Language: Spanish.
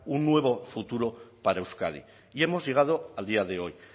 un nuevo futuro para euskadi y hemos llegado al día de hoy